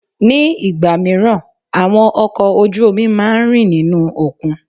Ní ìgbà míràn, àwọn ọkọ̀ ojú omi máa ń rì nínú òkun.